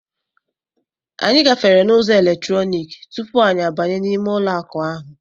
Anyị gafere n'ụzọ eletrọnik tupu anyị abanye n'ime ụlọ akụ ahụ.